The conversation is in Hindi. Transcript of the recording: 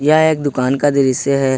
यह एक दुकान का दृश्य है ।